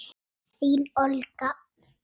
Þín Olga.